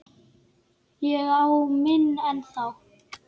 Ég á minn ennþá.